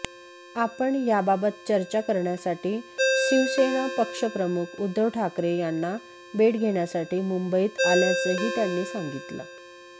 आपण याबाबत चर्चा करण्यासाठी शिवसेना पक्षप्रमुख उद्धव ठाकरे यांना भेट घेण्यासाठी मुंबईत आल्याचंही त्यांनी सांगितलं